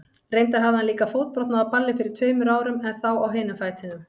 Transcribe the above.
Reyndar hafði hann líka fótbrotnað á balli fyrir tveimur árum, en þá á hinum fætinum.